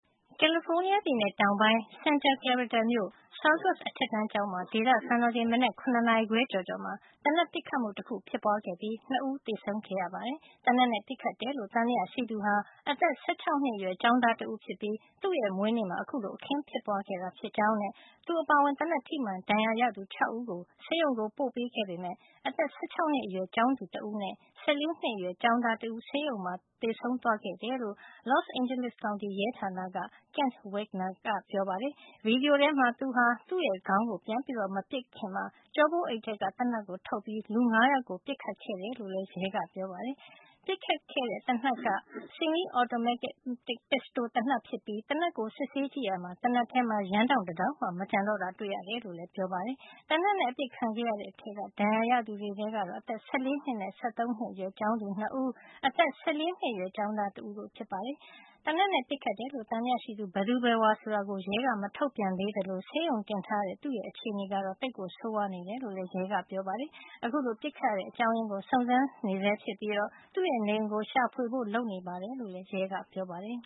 ကယ်လီဖိုးနီးယားပြည်နယ် တောင်ပိုင်း Santa Clarita မြို့ Saugus အထက်တန်းကျောင်းမှာ ဒေသစံတော်ချိန် မနက် ၇ နာရီခွဲ ကျော်ကျော်မှာ သေနတ်ပစ်ခတ်မှု တခု ဖြစ်ပွားခဲ့ပြီး ၂ ဦး သေဆုံးခဲ့ရပါတယ်။ သေနတ်နဲ့ ပစ်ခတ်တယ်လို့ သံသယရှိသူဟာ အသက် ၁၆ နှစ်အရွယ် ကျောင်းသားတဦးဖြစ်ပြီး သူ့မွေးနေ့မှာ ခုလို အခင်းဖြစ်ပွားခဲ့ကြောင်းနဲ့ သူအပါအဝင် သေနတ်ထိမှန် ဒဏ်ရာရသူ ၆ ဦးကို ဆေးရုံကို ပို့ပေးခဲ့ ပေမယ့် အသက် ၁၆ နှစ်အရွယ်ကျောင်းသူ တဦးနဲ့ ၁၄ နှစ်အရွယ် ကျောင်းသားတဦး ဆေးရုံမှာ သေဆုံးသွားတယ်လို့ Los Angeles ကောင်တီ ရဲဌာနက ကက်ပတိန် Kent Wegener က ပြောပါတယ်။ ဗီဒီယိုထဲမှာ သူဟာ သူ့ခေါင်းကို သူပြန်မပစ်ခင်မှာ ကျောပိုးအိတ်ထဲက သေနတ်ကို ထုတ်ပြီး လူ ၅ ယောက်ကို ပစ်ခတ်ခဲ့တယ်လို့လည်း ရဲက ပြောပါတယ်။ ပစ်ခတ်တဲ့ သေနတ်က 45-caliber semi-automatic pistol ဖြစ်ပြီး သေနတ်ကို စစ်ဆေးကြည့်ရာမှာ သေနတ်ထဲ ယမ်းတောင့် တတောင့်မှ မကျန်တော့တာ တွေ့ရတယ်လို့လည်း ပြောပါတယ်။ သေနတ်နဲ့ အပစ်ခံခဲ့ရတဲ့ထဲက ဒဏ်ရာရခဲ့သူတွေကတော့ အသက် ၁၄ နှစ်နဲ့ ၁၃ နှစ်အရွယ် ကျောင်းသူ ၂ ဦး အသက် ၁၄ နှစ်အရွယ် ကျောင်းသား တဦးတို့ ဖြစ်ပါတယ်။ သေနတ်နဲ့ ပစ်ခတ်တယ်လို့ သံသယရှိသူ ဘယ်သူဘယ်ဝါ ဆိုတာကို ရဲက မထုတ်ပြန်သေးသလို ဆေးရုံတင်ထားရတဲ့ သူ့ရဲ့ အခြေနေကတော့ သိပ်ဆိုးနေတယ်လို့လည်း ရဲက ပြောပါတယ်။ အခုလို ပစ်ခတ်ရတဲ့ အကြောင်းရင်းကို စုံစမ်းဆဲဖြစ်ပြီး သူ့နေအိမ်ကို ရှာဖွေဖို့ လုပ်နေတယ်လို့ လည်း ရဲက ပြောပါတယ်